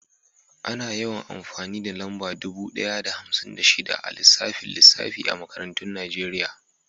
Ana yawan amfani da lamba dubu ɗaya da hamsin da shida a lissafin lissafi a makarantun Najeriya.